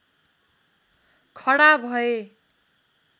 खडा भए